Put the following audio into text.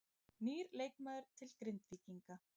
Nýr leikmaður til Grindvíkinga